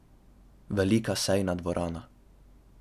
Velika sejna dvorana.